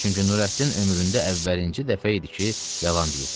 Çünki Nurəddin ömründə əvvəlinci dəfə idi ki, yalan deyirdi.